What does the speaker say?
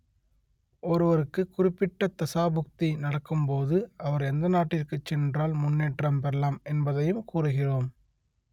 ஒருவருக்கு குறிப்பிட்ட தசாபுக்தி நடக்கும் போது அவர் எந்த நாட்டிற்கு சென்றால் முன்னேற்றம் பெறலாம் என்பதையும் கூறுகிறோம்